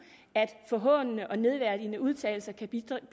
forhånelse og nedværdigende udtalelser kan bidrage